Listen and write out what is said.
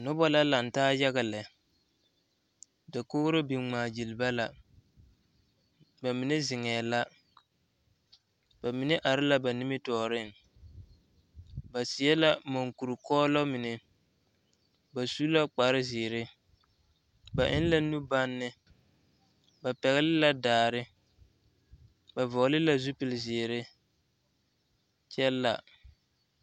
Noba la laŋ taa yaga lɛ dakogri biŋ ŋmaa gyili ba la ba mine zeŋɛɛ la ba mine are la ba nimitɔɔreŋ ba seɛ la moŋkuri kɔɔloŋ mine ba su la kpare zeere ba eŋ la nu banne ba pɛgle la daare ba vɔgle la zupile zeere kyɛ la.